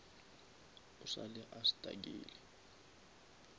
o sa le a stuckile